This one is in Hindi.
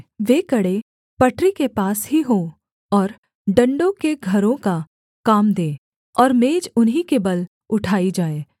वे कड़े पटरी के पास ही हों और डण्डों के घरों का काम दें कि मेज उन्हीं के बल उठाई जाए